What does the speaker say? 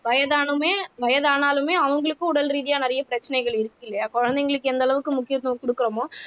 வயதானவுமே வயதானாலுமே அவங்களுக்கும் உடல் ரீதியா நிறைய பிரச்சனைகள் இருக்கு இல்லையா குழந்தைகளுக்கு எந்த அளவுக்கு முக்கியத்துவம் கொடுக்கிறோமோ